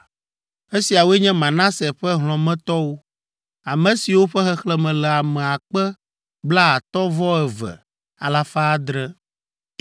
Esiawoe nye Manase ƒe hlɔ̃metɔwo, ame siwo ƒe xexlẽme le ame akpe blaatɔ̃ vɔ eve alafa adre (52,700).